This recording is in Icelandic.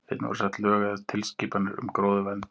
Einnig voru sett lög eða tilskipanir um gróðurvernd.